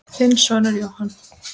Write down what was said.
Þinn sonur Jóhann.